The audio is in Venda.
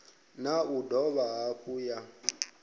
na u dovha hafhu ya